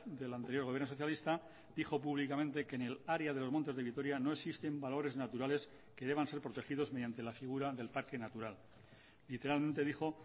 del anterior gobierno socialista dijo públicamente que en el área de los montes de vitoria no existen valores naturales que deban ser protegidos mediante la figura del parque natural literalmente dijo